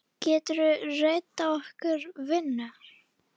Geturðu reddað okkur vinnu?